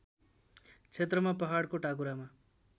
क्षेत्रमा पहाडको टाकुरामा